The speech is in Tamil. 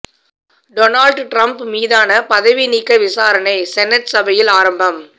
டொனால்ட் ட்ரம்ப் மீதான பதவி நீக்க விசாரணை செனட் சபையில் ஆரம்பம்